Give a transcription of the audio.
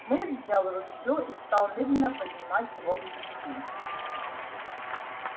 мэтт взял ружье и стал медленно поднимать его к плечу